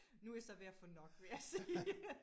Nu er jeg så ved at få nok vil jeg sige